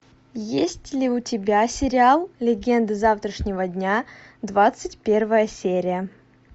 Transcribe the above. есть ли у тебя сериал легенды завтрашнего дня двадцать первая серия